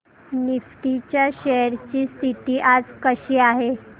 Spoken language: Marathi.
निफ्टी च्या शेअर्स ची स्थिती आज कशी आहे